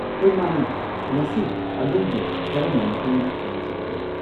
ꯍꯣꯏ ꯃꯥꯅꯤ, ꯉꯁꯤ ꯑꯗꯣꯝꯕꯨ ꯀꯔꯝꯅ ꯃꯇꯦꯡ ꯄꯥꯡꯖꯧꯒꯦ?